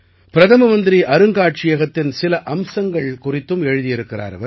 பிரதம மந்திரி அருங்காட்சியகத்தின் சில அம்சங்கள் குறித்தும் எழுதியிருக்கிறார்